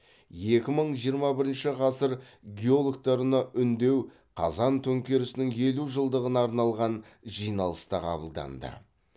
екі мың жиырма бірінші ғасыр геологтарына үндеу қазан төңкерісінің елу жылдығына арналған жиналыста қабылданды